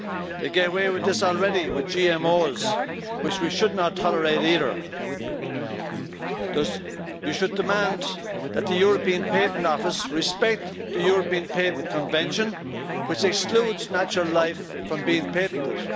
They get away with this already with GMOs, which we should not tolerate either. You should demand that the European Patent Office respect the European Patent Convention which excludes natural life from being patented.